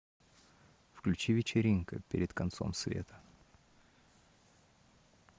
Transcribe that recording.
включи вечеринка перед концом света